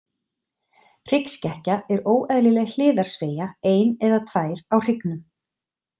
Hryggskekkja er óeðlileg hliðarsveigja, ein eða tvær, á hryggnum.